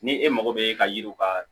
Ni e mago bɛ e ka yiriw ka